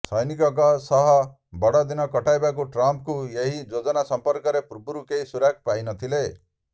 ସ୘ନିକଙ୍କ ସହ ବଡ଼ଦିନ କଟାଇବାକୁ ଟ୍ରମ୍ପ୍ଙ୍କ ଏହି ଯୋଜନା ସମ୍ପର୍କରେ ପୂର୍ବରୁ କେହି ସୁରାକ୍ ପାଇନଥିଲେ